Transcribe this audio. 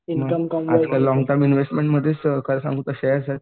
आता तुला लोंगटर्म इन्व्हेस्टमेंटमध्ये काय सांगू तुला शेअर्स आहेत.